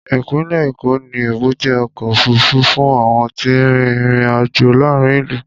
Ìpínlẹ̀ Èkó ní èbúté ọkọ̀ òfuurufú fún àwọn tí ń rin ìrìn-àjò láàárín ìlú.